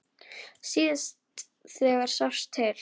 Síðast þegar sást til